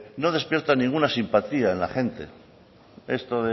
no despierta ninguna simpatía en la gente esto